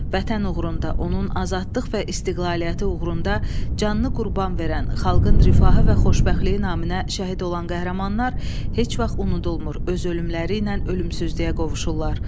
Vətən uğrunda onun azadlıq və istiqlaliyyəti uğrunda canını qurban verən, xalqın rifahı və xoşbəxtliyi naminə şəhid olan qəhrəmanlar heç vaxt unudulmur, öz ölümləri ilə ölümsüzlüyə qovuşurlar.